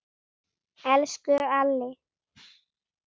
Elsku Alli.